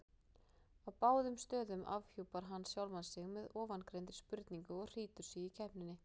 Á báðum stöðum afhjúpar hann sjálfan sig með ofangreindri spurningu og hlýtur sigur í keppninni.